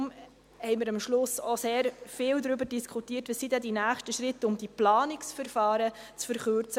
Deshalb haben wir am Schluss sehr viel darüber diskutiert, welches die nächsten Schritte sind, um die Planungsverfahren zu verkürzen.